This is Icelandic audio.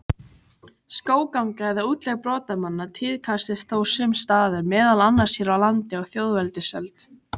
Skógganga eða útlegð brotamanna tíðkaðist þó sums staðar, meðal annars hér á landi á þjóðveldisöld.